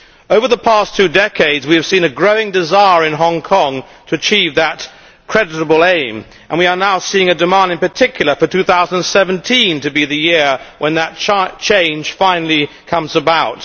Over the past two decades, we have seen a growing desire in Hong Kong to achieve that creditable aim, and we are now seeing a demand, in particular, for 2017 to be the year when that change finally comes about.